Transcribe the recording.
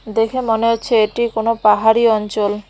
দেখে মনে হচ্ছে এটি কোন পাহাড়ি অঞ্চল।